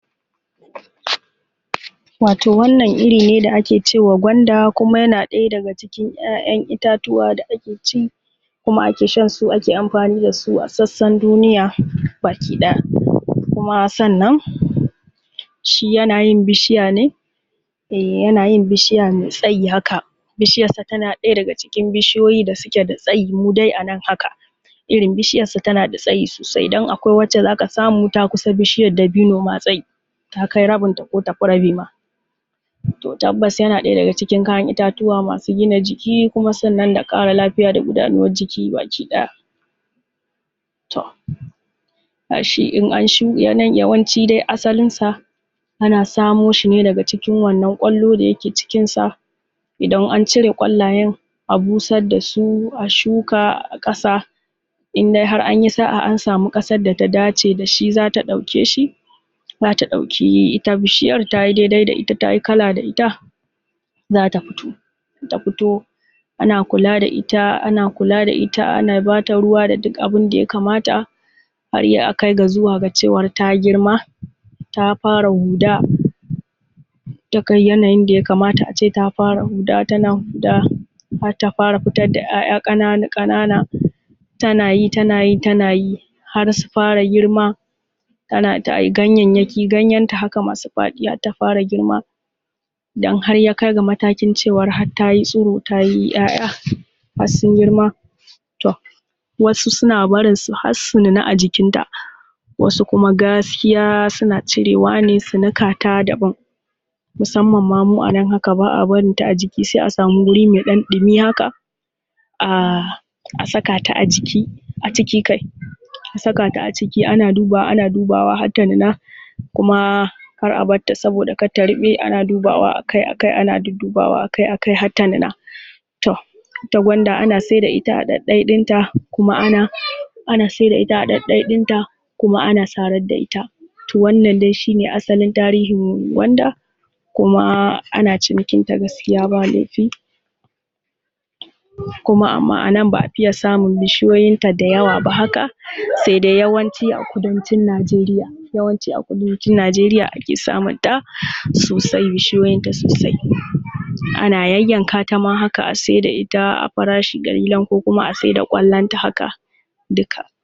Wato wannan iri ne da ake cewa gwanda kuma yana ɗaya daga cikin ‘ya’yan itatuwa da ake ci, kuma ake shansu, kuma ake amfani da su a sassan duniya baki ɗaya. Kuma sannan shi yana yin bishiya ne, eh yana yin bishiya mai tsayi haka, bishiyansa tana ɗaya daga cikin bishiyoyi da suke da tsayi mu dai anan haka, irin bishiyan sa tana da tsayi sosai, don akwai wacce za ka samu ta kusa bishiyar dabino ma tsayi, ta kai rabinta ko tafi rabi ma. To tabbas yana ɗaya daga cikin kayan itatuwa masu gina jiki kuma sannan da ƙara lafiya da gudanuwar jiki baki ɗaya. To ga shi in an, yawancin asalin sa ana samo shi ne daga cikin wannan ƙwallo da yake cikinsa. Idan an cire ƙwallayen a busar da su a shuka a ƙasa, in dai har anyi sa’a an samu ƙasar da ta dace da shi, za ta ɗauke shi, za ta ɗauki ita bishiyar, ta yi dai-dai da ita ta yi kala da ita za ta fito. In ta fito ana kula da ita, ana kula da ita ana bata ruwa da duk abin da ya kamata, har akai ga zuwa da cewar ta girma ta fara huda, daga yanayin da ya kamata a ce ta fara huda tana huda, har ta fara fitar da ‘ya’ya ƙanana-ƙanana, tanayi, tanayi, tanayi har su fara girma. Ana ta yi ganyayyaki, ganyenta haka masu faɗi har ta fara girma, dan har ya kai ga matakin cewa ta yi tsiro ta yi ‘ya’ya har sun girma, to wasu suna barinsu har su nuna a jikinta, wasu kuma gaskiya suna cirewa ne su nika daban. Musamman ma mu a nan haka ba a barinta a jiki, sai a samu wuri mai ɗan ɗumi haka a saka ta a jiki, aciki kai, a saka ta aciki ana dubawa ana dubawa ta har ta nuna ta nuna, kar a bar ta saboda kar ta ruɓe, ana dubawa akai-akai, ana duddubawa akai-akai har ta nuna. To ita gwanda ana saida ita a ɗaiɗai ɗinta, kuma ana ana saida ita a ɗaiɗai ɗinta kuma ana sarar da ita. To wannan dai shi ne asalin tarihin gwanda kuma ana cinikinta gaskiya ba laifi. Kuma anan ba a fiye samun bishiyoyinta dayawa ba, sai dai yawanci a kudancin Najeriya, yawanci a kudancin Najeriya ake samunta sosai, bishiyoyinta sosai. Ana yayyanka ta ma haka a saida ita a farshi ƙalilan ko kuma a saida ƙwallonta haka duka